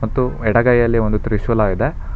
ತ್ತು ಎಡಗೈಯಲ್ಲಿ ಒಂದು ತ್ರಿಶೂಲ ಇದೆ.